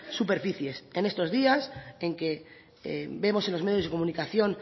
superficies en estos días en que vemos en los medios de comunicación